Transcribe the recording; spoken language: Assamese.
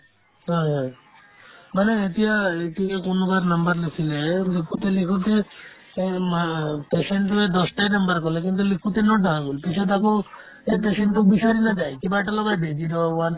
হয় হয় মানে এতিয়া লিখোতে কোনোবাৰ number নুঠিলে এই লিখোতে লিখোতে এই মা patient টোয়ে দছটায়ে number ক'লে কিন্তু লিখোতে ন গ'ল পিছত আকৌ সেই patient তোক বিচাৰিলে তাই কিবা এটা লগাই দিয়ে যি ধৰক one